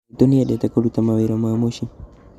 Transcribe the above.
Maitũ nĩendete kũruta mawira ma mũciĩ